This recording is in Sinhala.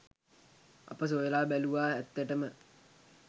අප සොයලා බැලූවා ඇත්තටම